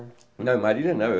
Não, em Marília não.